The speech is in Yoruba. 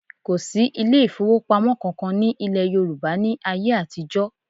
Kò sí ilé ìfowópamọ́ kankan ní ilẹ̀ Yorùbá ní ayé àtijọ́